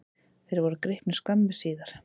Þeir voru gripnir skömmu síðar.